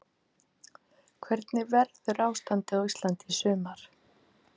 Hvernig verður ástandið á Íslandi í sumar?